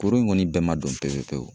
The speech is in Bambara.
Kuru in kɔni bɛɛ ma dɔn pepepewu